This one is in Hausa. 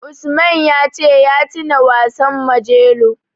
Usman ya ce ya tuna wasan Majelo.